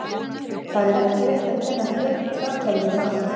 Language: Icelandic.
Það er ekki rétt að kenna framherjunum um allt.